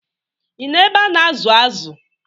Ị nọ ebe a na-azụ̀ azụ̀?